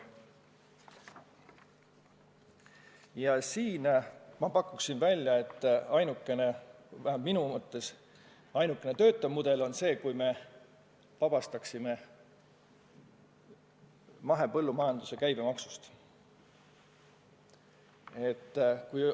Ja siin ma pakuksin välja, et ainukene töötav mudel oleks see, kui me vabastaksime mahepõllumajanduse käibemaksust.